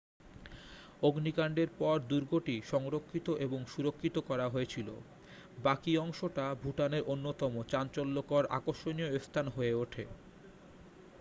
অগ্নিকাণ্ডের পর দুর্গটি সংরক্ষিত এবং সুরক্ষিত করা হয়েছিল বাকি অংশটা ভুটানের অন্যতম চাঞ্চল্যকর আকর্ষণীয় স্থান হয়ে ওঠে